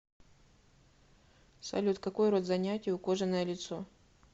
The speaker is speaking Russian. салют какой род занятий у кожаное лицо